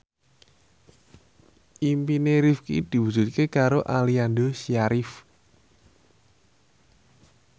impine Rifqi diwujudke karo Aliando Syarif